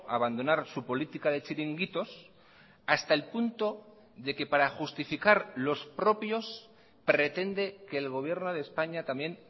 abandonar su política de chiringuitos hasta el punto de que para justificar los propios pretende que el gobierno de españa también